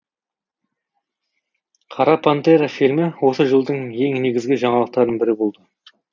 қара пантера фильмі осы жылдың ең негізгі жаңалықтарының бірі болды